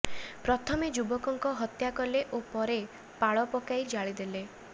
ପ୍ରଥମେ ଯୁବକଙ୍କୁ ହତ୍ୟା କଲେ ଓ ପରେ ପାଳ ପକାଇ ଜାଳିଦେଲେ